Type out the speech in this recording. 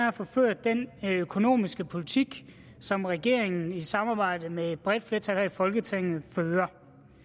at få ført den økonomiske politik som regeringen i samarbejde med et bredt flertal her i folketinget fører